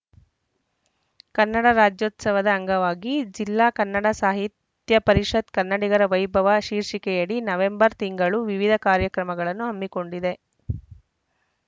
ಕನ್ನಡ ರಾಜ್ಯೋತ್ಸವದ ಅಂಗವಾಗಿ ಜಿಲ್ಲಾ ಕನ್ನಡ ಸಾಹಿತ್ಯ ಪರಿಷತ್‌ ಕನ್ನಡಿಗರ ವೈಭವ ಶೀರ್ಷಿಕೆಯಡಿ ನವೆಂಬರ್‌ ತಿಂಗಳು ವಿವಿಧ ಕಾರ್ಯಕ್ರಮಗಳನ್ನು ಹಮ್ಮಿಕೊಂಡಿದೆ